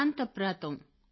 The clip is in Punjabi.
ਦਾਨਤਪਰਾ ਤੋਂ